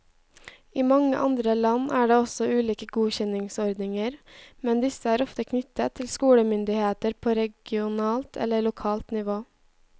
I mange andre land er det også ulike godkjenningsordninger, men disse er ofte knyttet til skolemyndigheter på regionalt eller lokalt nivå.